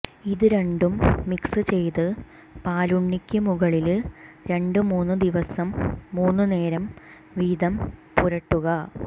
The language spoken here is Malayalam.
ഇത് രണ്ടും മിക്സ് ചെയ്ത് പാലുണ്ണിക്ക് മുകളില് രണ്ട് മൂന്ന് ദിവസം മൂന്ന് നേരം വീതം പുരട്ടുക